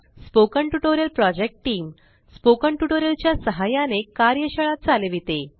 spoken tutorial project team spoken tutorial च्या सहाय्याने कार्यशाळा चालविते